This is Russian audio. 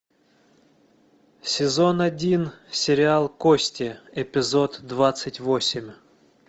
сезон один сериал кости эпизод двадцать восемь